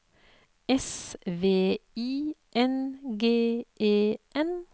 S V I N G E N